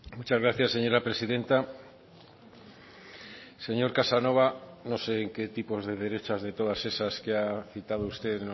muchas gracias señora presidenta señor casanova no sé en qué tipos de derechas de todas esas que ha citado usted